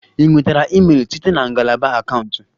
Ị nwetara email site na ngalaba akaụntụ?